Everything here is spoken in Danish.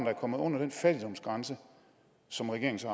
er kommet under den fattigdomsgrænse som regeringen så